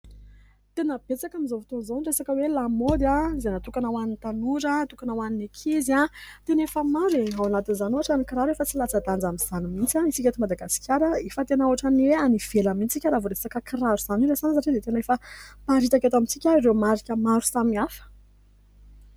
Tena betsaka amin'izao fotoana izao ny resaka lamaody izay natokana ho an'ny tanora natokana ho an'ny ankizy tena efa maro e ! Ao anatin'izany ohatra ny kiraro efa tsy latsa-danja amin'izany mihitsy isika eto Madagasikara ; efa tena ohatrany hoe any ivelany mihitsy isika rehefa resaka kiraro izany no resahana satria dia efa miparitaka eto amintsika ireo marika maro samihafa.